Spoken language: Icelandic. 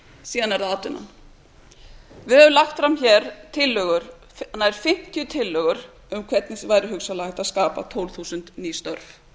síðan er það atvinnan við höfum lagt fram tillögur nær fimmtíu tillögur um hvernig væri hugsanlega hægt að skapa tólf þúsund ný störf